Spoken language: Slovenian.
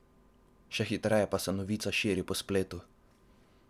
Še hitreje pa se novica širi po spletu.